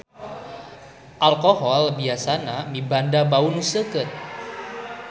Alkohol biasana mibanda bau nu seukeut.